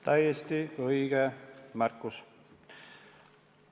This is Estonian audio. Täiesti õige märkus.